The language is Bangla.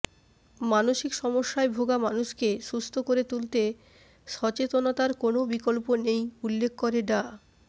মানসিক সমস্যায় ভোগা মানুষকে সুস্থ করে তুলতে সচেতনতার কোনও বিকল্প নেই উল্লেখ করে ডা